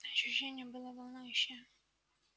ощущение было волнующее